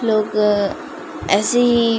लोग ऐसे ही --